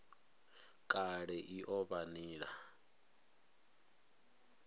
kale i o vha nila